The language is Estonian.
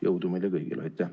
Jõudu meile kõigile!